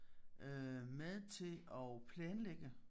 Øh med til og planlægge